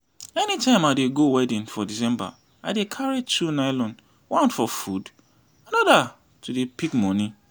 anytime i dey go wedding for december i dey carry two nylon one for food another to dey pick money